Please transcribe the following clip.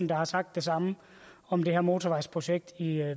der har sagt det samme om det her motorvejsprojekt i